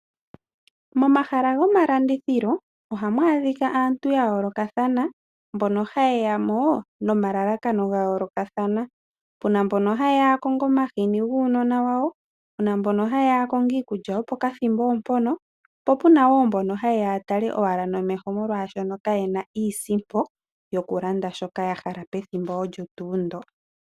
Momahala gomalandithilo ohamu adhika aantu yayoolokathana mboka hayeya mo nomalalakano gayoolokathana. Puna mboka hayeya yakonge omahini guunona wawo, puna mboka hayeya yakonge iikulya yo pokathimbo mpoka po puna wo mboka hayeya yatale nomeho molwashoka kayena iisimpo yokulanda shoka yahala pethimbo olyo tuu ndo.